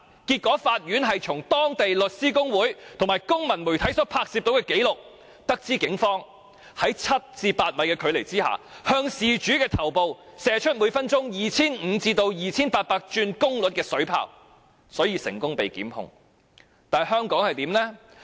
結果，法院是從當地律師公會和公民媒體所拍攝的紀錄中，得知警方在只有七八米的距離下，向事主頭部射出每分鐘 2,500 轉至 2,800 轉功率的水炮，因而成功作出檢控。